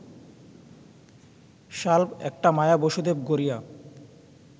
শাল্ব একটা মায়া বসুদেব গড়িয়া